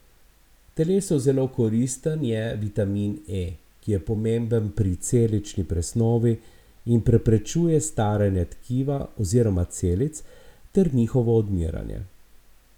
Telesu zelo koristen je vitamin E, ki je pomemben pri celični presnovi in preprečuje staranje tkiva oziroma celic ter njihovo odmiranje.